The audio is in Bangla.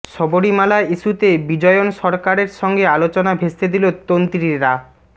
সবরীমালা ইস্যুতে বিজয়ন সরকারের সঙ্গে আলোচনা ভেস্তে দিল তন্ত্রীরা